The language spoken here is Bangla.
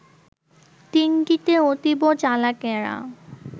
দিনটিতে অতীব চালাকেরা